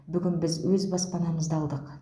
бүгін біз өз баспанамызды алдық